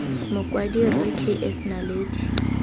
mokwadi rre k s naledi